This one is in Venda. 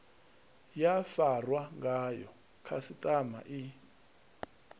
ya farwa ngayo khasiṱama i